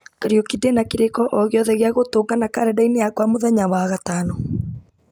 kariũki ndĩna kĩrĩko o gĩothe gĩa gũtũngana karenda-inĩ yakwa mĩthenya wa gatano